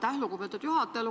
Aitäh, lugupeetud juhataja!